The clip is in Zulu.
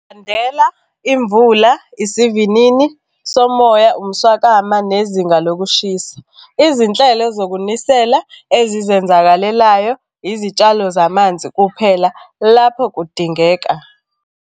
Khandela imvula isivinini somoya, umswakama nezinga lokushisa. Izinhlelo zokunisela ezizenzakalelayo, izitshalo zamanzi kuphela lapho kudingeka.